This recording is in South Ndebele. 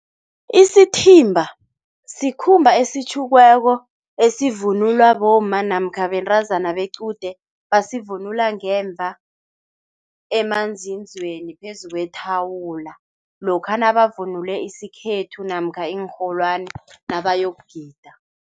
Isithimba sikhumba esitjhukiweko esivunulwa bomma namkha bentazana bequde basivunula ngemva emanzinzweni phezu kwethuwula lokha nabavunule isikhethu namkha iinrholwani nabayokugida.